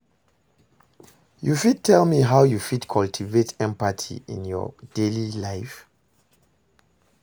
you fit tell me how you fit cultivate empathy in your daily life?